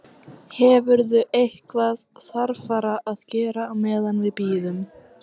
Hefurðu eitthvað þarfara að gera á meðan við bíðum?